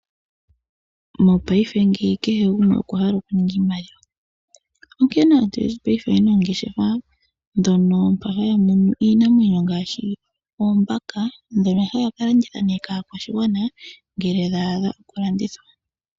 Mopaife kehe gumwe okwa hala oku ninga iimaliwa, onkene aantu oyendji paife oyena oongeshefa. Haya munu iinamwenyo ngaashi oombaka ndhono haya kalanditha kaa kwashigwana ngele dhaadha oku landithwa.